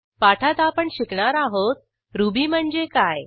पाठात आपण शिकणार आहोत रुबी म्हणजे काय